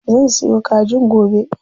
Zan sayo kajin gobe.